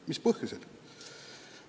Mis põhjusel?